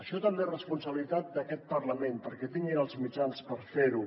això també és responsabilitat d’aquest parlament perquè tinguin els mitjans per fer ho